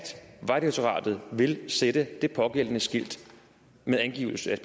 vejdirektoratet vil sætte det pågældende skilt med angivelse af